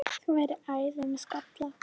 Þú værir æði með skalla!